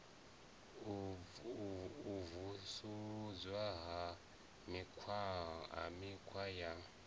u vusuludzwa ha mikhwa ya